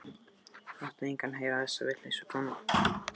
Láttu engan heyra þessa vitleysu, kona.